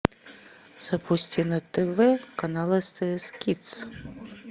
запусти на тв канал стс кидс